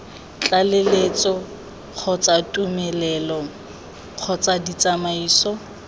tlaleletso kgotsa tumelelo kgotsa ditsamaiso